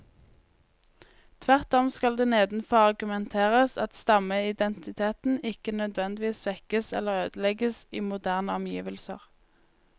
Tvert om skal det nedenfor argumenteres at stammeidentiteten ikke nødvendigvis svekkes eller ødelegges i moderne omgivelser.